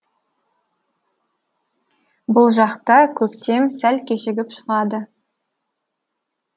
бұл жақта көктем сәл кешігіп шығады